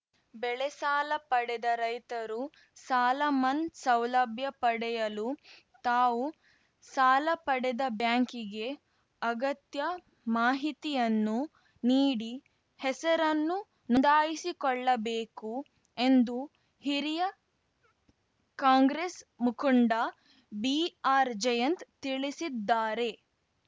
ಬೆಳೆಸಾಲ ಪಡೆದ ರೈತರು ಸಾಲ ಮನ್ನ್ ಸೌಲಭ್ಯ ಪಡೆಯಲು ತಾವು ಸಾಲ ಪಡೆದ ಬ್ಯಾಂಕಿಗೆ ಅಗತ್ಯ ಮಾಹಿತಿಯನ್ನು ನೀಡಿ ಹೆಸರನ್ನು ನೊಂದಾಯಿಸಿಕೊಳ್ಳಬೇಕು ಎಂದು ಹಿರಿಯ ಕಾಂಗ್ರೆಸ್‌ ಮುಖುನ್ಡ ಬಿಆರ್‌ಜಯಂತ್‌ ತಿಳಿಸಿದ್ದಾರೆ